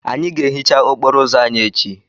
Anyị ga-ehicha okporo ụzọ anyị echi.